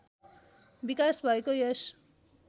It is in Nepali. विकास भएको यस